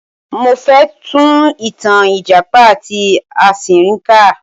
Mo fẹ tún ìtàn ìjàpá ati asínrín kà.